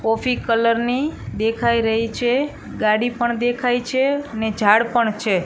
Coffee colour ની દેખાય રહી છે ગાડી પણ દેખાય છે ને ઝાડ પણ છે.